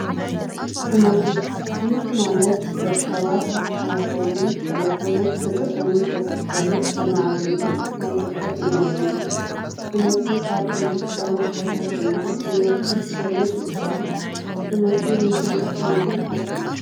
ትምህርቲ፡- ትምህርቲ ማለት ደቂ ሰባት ኣብ ኣተሓሳስበኦምን ክእለቶምን ፍልጠቶምን ዘስፍሑሉን ዘማዕብሉሉን ናይ ፍልጠት መንገዲ እዩ፡፡ ትምህርቲ ካብ እንረክበሎም ቦታታት ድማ ዩኒቨርስቲ ኮሌጅ ይጥቀሱ፡፡ ትምህርቲ ንምንታይ ይጠቅም ኢልኩም ትሓስቡ?